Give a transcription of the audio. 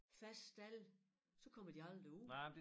Faste stalde så kommer de aldrig ud